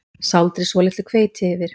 Sáldrið svolitlu hveiti yfir.